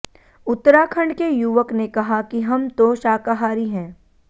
उत्तराखंड के युवक ने कहा कि हम तो शाकाहारी है